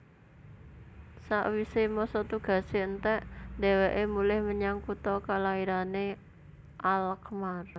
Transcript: Sawisé masa tugasé entèk dhèwèké mulih menyang kutha kalairané Alkmaar